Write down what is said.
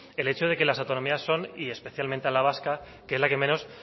el hecho de que las autonomías son y especialmente la vasca que es la que menos